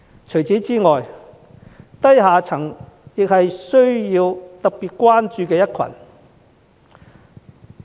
此外，低下層也是特別需要關注的一群。